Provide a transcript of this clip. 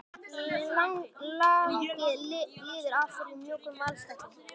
Lagið líður áfram í mjúkum valstakti.